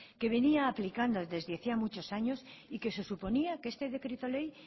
que venía aplicando desde hacía muchos años y que se suponía que este decreto ley